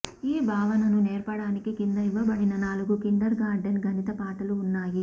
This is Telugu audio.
ఈ భావనను నేర్పడానికి క్రింద ఇవ్వబడిన నాలుగు కిండర్ గార్టెన్ గణిత పాఠాలు ఉన్నాయి